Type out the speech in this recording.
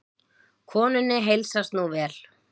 Konunni heilsast nú vel.